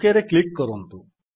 OKରେ click କରନ୍ତୁ